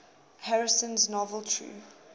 harrison's novel true